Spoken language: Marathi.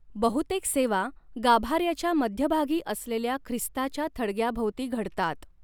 बहुतेक सेवा गाभाऱ्याच्या मध्यभागी असलेल्या ख्रिस्ताच्या थडग्याभोवती घडतात.